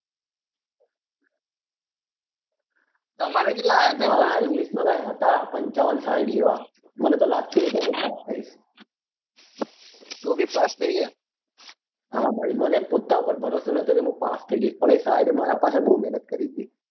મારે મારે યા english કઈક હતા પંચાવન સાહીંઠ જેવા મને તો લાગતું નાતુ કે હું પાસ થઈશ હા ભાઈ મારા પોતા પર ભરોસો નતો કે મુ પાસ થઇ જઈસ પણ એ સાહેબે મારા પાછળ બઉ મહેનત કરી હતી.